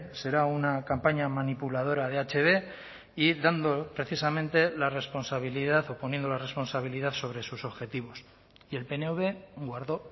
será una campaña manipuladora de hb y dando precisamente la responsabilidad o poniendo la responsabilidad sobre sus objetivos y el pnv guardó